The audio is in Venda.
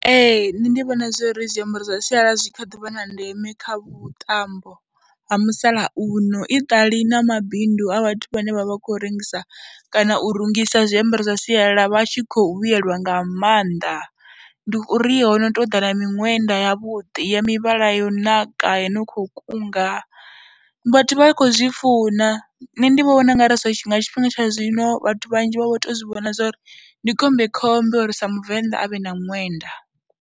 Ee, nṋe ndi vhona zwo ri zwiambaro zwa sialala zwi kha ḓi vha na ndeme kha vhuṱambo ha musalauno i ṱali na mabindu a vhathu vhane vha vha khou rengisa kana u rungisa zwiambaro zwa sialala vha tshi khou vhuyelwa nga maanḓa. Ndi uri ho no tou ḓa na miṅwenda yavhuḓi ya mivhala yo naka yo no khou kunga, vhathu vha khou zwi funa, nṋe ndi vho vhona u nga ri zwi nga tshifhinga tsha zwino vhathu vhanzhi vha vho tou zwi vhona zwo ri ndi khombekhombe uri sa Muvenḓa a vhe na ṅwenda.